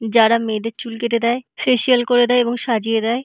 যারা মেয়েদের চুল কেটে দেয় ফেসিয়াল করে দেয় এবং সাজিয়ে দেয়।